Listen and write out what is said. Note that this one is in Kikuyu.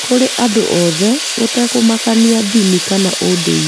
kũrĩ andũ othe, gũtekũmakania ndini kana ũndũire.